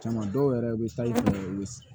Caman dɔw yɛrɛ bɛ sayi u bɛ